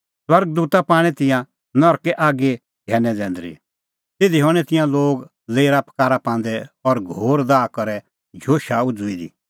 स्वर्ग दूता पाणै तिंयां नरकै आगीए घैनै जैंदरी तिधी हणैं तिंयां लोग लेरा पकारा पांदै और घोर दाह करै झोशा उझ़ुई दी